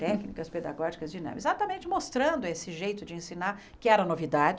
Técnicas pedagógicas dinâmicas, exatamente mostrando esse jeito de ensinar, que era novidade.